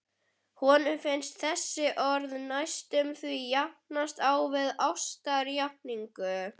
Honum finnst þessi orð næstum því jafnast á við ástarjátningu.